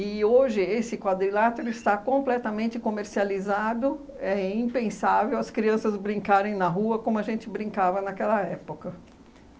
hoje esse quadrilátero está completamente comercializado, é impensável as crianças brincarem na rua como a gente brincava naquela época.